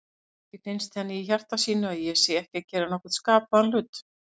Kannski finnst henni í hjarta sínu að ég sé ekki að gera nokkurn skapaðan hlut.